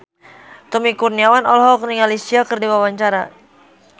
Tommy Kurniawan olohok ningali Sia keur diwawancara